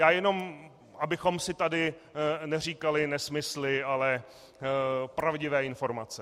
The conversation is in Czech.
Já jen abychom si tady neříkali nesmysly, ale pravdivé informace.